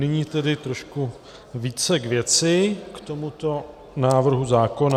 Nyní tedy trošku více k věci, k tomuto návrhu zákona.